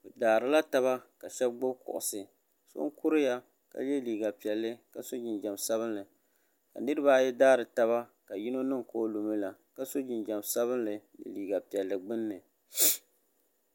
bi daarila taba ka shab gbubi kuɣusi so n kuriya ka yɛ liiga piɛlli ka so jinjɛm sabinli ka niraba ayi daari taba ka yino niŋ ka o lumi la ka so jinjɛm sabinli ni liiga piɛlli gbunni